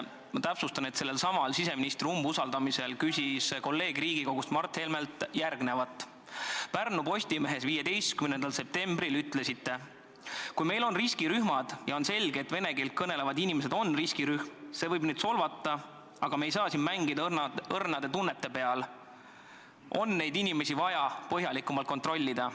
Ma täpsustan, et sellelsamal siseministri umbusaldamisel küsis kolleeg Riigikogus Mart Helmelt järgmist: "Pärnu Postimehes 15. septembril ütlesite: "Kui meil on riskirühmad ja on selge, et vene keelt kõnelevad inimesed on riskirühm – see võib neid solvata, aga me ei saa siin mängida õrnade tunnete peal –, on neid inimesi vaja põhjalikumalt kontrollida."